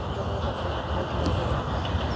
Não quero voltar para para o outro lado agora, não.